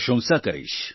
પ્રશંસા કરીશ